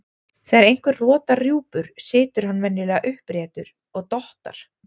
Þegar einhver rotar rjúpur situr hann venjulega uppréttur og dottar.